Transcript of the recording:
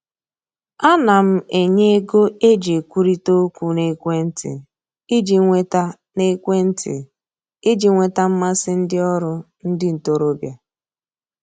A na m enye ego e ji ekwurita okwu n'ekwentị iji nweta n'ekwentị iji nweta mmasị ndị ọrụ ndị ntoroọbịa